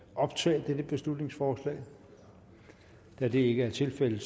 optage dette beslutningsforslag da det ikke er tilfældet